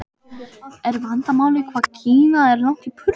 Er vandamálið hvað Kína er langt í burtu?